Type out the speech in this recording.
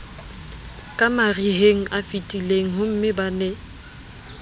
ka marihengafetileng homme ba ne